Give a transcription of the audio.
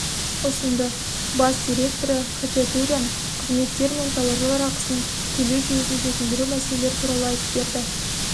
ұсынды бас директоры хачатурян қызметтер мен тауарлар ақысын төлеу жүйесін жетілдіру мәселелері туралы айтып берді